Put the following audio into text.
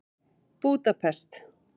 Búdapest